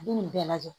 Nin bɛɛ lajɛ